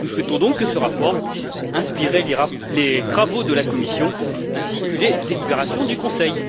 Nous souhaitons, donc, que ce rapport puisse inspirer les travaux de la Commission ainsi que les délibérations du Conseil.